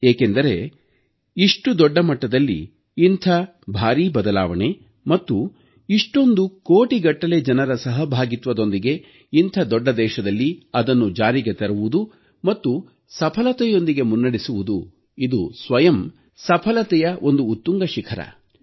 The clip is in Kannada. ಏಕೆಂದರೆ ಇಷ್ಟು ದೊಡ್ಡ ಮಟ್ಟದಲ್ಲಿ ಇಂಥ ಭಾರೀ ಬದಲಾವಣೆ ಮತ್ತು ಇಷ್ಟೊಂದು ಕೋಟಿಗಟ್ಟಲೆ ಜನರ ಸಹಭಾಗಿತ್ವದೊಂದಿಗೆ ಇಂಥ ದೊಡ್ಡ ದೇಶದಲ್ಲಿ ಅದನ್ನು ಜಾರಿಗೆ ತರುವುದು ಮತ್ತು ಸಫಲತೆಯೊಂದಿಗೆ ಮುನ್ನಡೆಸುವುದು ಇದು ಸ್ವಯಂ ತಾನೇ ಸಫಲತೆಯ ಒಂದು ಉತ್ತುಂಗ ಶಿಖರ